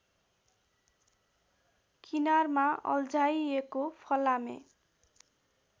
किनारमा अल्झाइएको फलामे